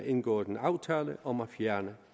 indgået en aftale om at fjerne